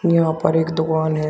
यहां पर एक दुकान है।